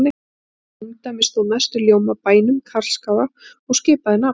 Í mínu ungdæmi stóð mestur ljómi af bænum Karlsskála og skipaði nafn